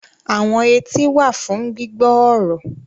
Àwọn etí wà fún gbígbọ́ ọ̀rọ̀